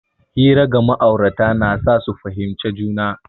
Hira ga ma'aurata na sa su fahimci juna.